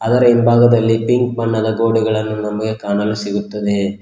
ಅದರ ಹಿಂಭಾಗದಲ್ಲಿ ಪಿಂಕ್ ಬಣ್ಣದ ಗೋಡೆಗಳನ್ನು ನಮಗೆ ಕಾಣಲು ಸಿಗುತ್ತದೆ.